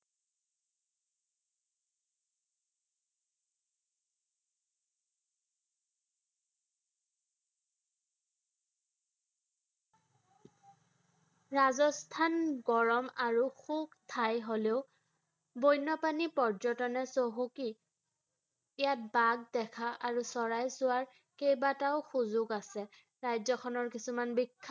ৰাজস্থান গৰম আৰু খুব ঠাই হ'লেও বন্য প্ৰাণী পৰ্যটনত চহকী ৷ ইয়াত বাঘ দেখা আৰু চৰাই চোৱাৰ কেইবাটাও সুযোগ আছে ৷ ৰাজ্য খনৰ কিছুমান বিখ্যাত